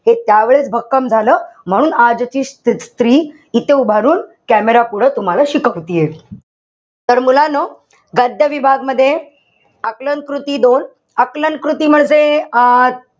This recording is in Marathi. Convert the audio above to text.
हे त्यावेळेस भक्कम झालं. म्हणून आजची स्त्री इथे उभ राहून camera पुढं तुम्हाला शिकवतेय. तर मुलांनो गद्य विभाग मध्ये, आकलन कृती दोन, आकलन कृतीमध्ये, अं